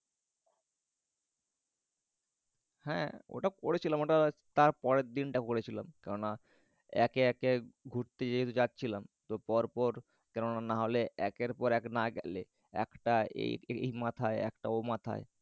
হ্যা ওটা করেছিলাম। তার পরের দিন ওটা করেছিলাম। একে একে ঘুরতে জাচ্ছিলাম। তো পর পর কেননা নাহলে একের পর এক না গেলে একটা এই মাথায় একটা ও মাথায়